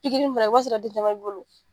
in fɛnɛ, o b'a sɔrɔ den caman b'i bolo.